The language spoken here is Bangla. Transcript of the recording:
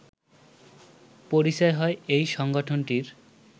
পরিচয় হয় এই সংগঠনটির